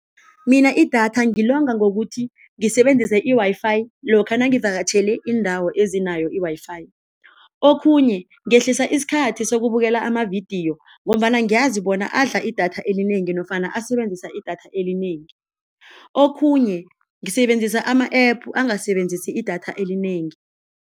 Mina idatha ngilonga ngokuthi ngisebenzise i-Wi-Fi lokha nangivakatjhele iindawo ezinayo i-Wi-Fi. Okhunye, kungehlisa isikhathi sizokubukela ama-video ngombana ngiyazi bona adla idatha elinengi nofana asebenzisa idatha elinengi, okhunye ngisebenzisa ama-App angasebenzisa idatha elinengi.